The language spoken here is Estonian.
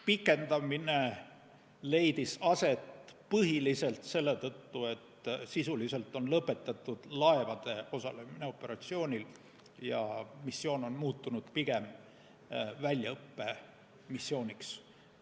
Pikendamine leidis aset põhiliselt selle tõttu, et sisuliselt on lõpetatud laevade osalemine operatsioonil ja missioon on muutunud pigem väljaõppemissiooniks.